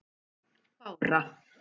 Bára